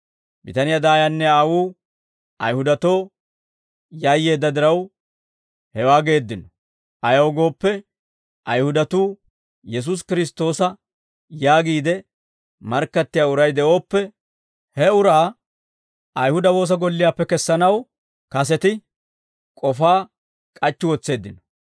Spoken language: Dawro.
Bitaniyaa daayanne aawuu Ayihudatoo yayyeedda diraw, hewaa geeddino; ayaw gooppe, Ayihudatuu Yesuusi Kiristtoosa yaagiide markkattiyaa uray de'ooppe, he uraa Ayihuda woosa golliyaappe kessanaw kaseti k'ofaa k'achchi wotseeddino.